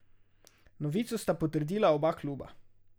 Novico sta potrdila oba kluba.